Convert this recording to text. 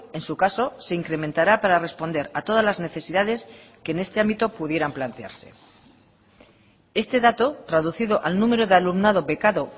en su caso se incrementará para responder a todas las necesidades que en este ámbito pudieran plantearse este dato traducido al número de alumnado becado